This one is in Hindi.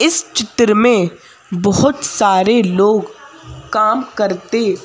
इस चित्र में बहुत सारे लोग काम करते--